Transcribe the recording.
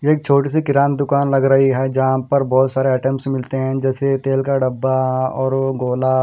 एक छोटी सी किरण दुकान लग रही है जहां पर बहुत सारे आइटम्स मिलते हैं जैसे तेल का डब्बा और गोला--